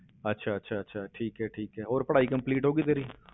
ਅੱਛਾ ਅੱਛਾ ਅੱਛਾ ਠੀਕ ਹੈ ਠੀਕ ਹੈ ਹੋਰ ਪੜ੍ਹਾਈ complete ਹੋ ਗਈ ਤੇਰੀ?